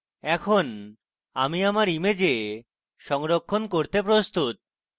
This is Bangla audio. এখন আমি আমার image সংরক্ষণ করতে প্রস্তুত